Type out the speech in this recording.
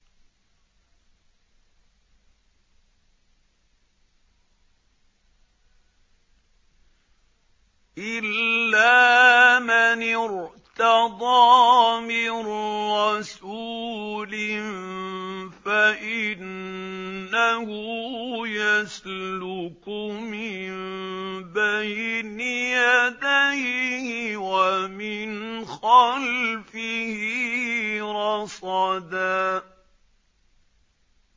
إِلَّا مَنِ ارْتَضَىٰ مِن رَّسُولٍ فَإِنَّهُ يَسْلُكُ مِن بَيْنِ يَدَيْهِ وَمِنْ خَلْفِهِ رَصَدًا